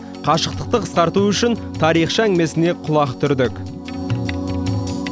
қашықтықты қысқарту үшін тарихшы әңгімесіне құлақ түрдік